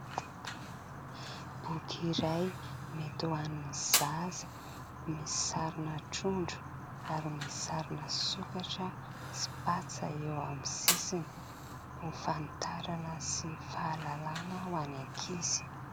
Boky iray mety ho an'ny zaza; misy sarina trondro ary misy sarina sokatra sy patsa eo amin'ny sisiny ho fanitarana sy fahalalàna ho an'ny ankizy.